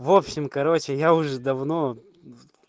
в общем короче я уже давно